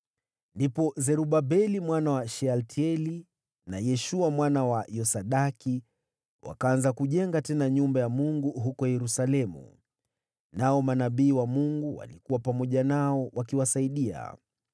Ndipo Zerubabeli mwana wa Shealtieli na Yeshua mwana wa Yosadaki wakaanza kujenga tena nyumba ya Mungu huko Yerusalemu. Nao manabii wa Mungu walikuwa pamoja nao, wakiwasaidia.